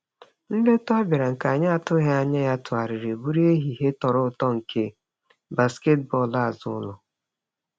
Nleta ọ bịara, nke anyị atụghị anya ya tụgharịrị bụrụ ehihie tọrọ ụtọ nke basketbọọlụ azụụlọ.